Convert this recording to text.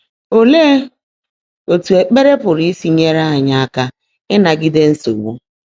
Óleé ótú ékpèré pụ́rụ́ ísi nyèèré ányị́ áká ị́nágídé nsógbú?